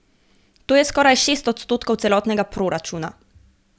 To je skoraj šest odstotkov celotnega proračuna.